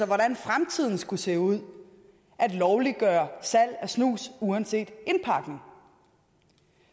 hvordan fremtiden skulle se ud at lovliggøre salg af snus uanset indpakning